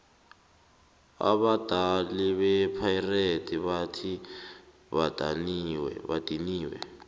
abadali bepirates bathi badiniwe